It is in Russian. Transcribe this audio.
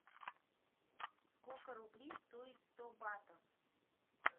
сколько рублей стоит сто батов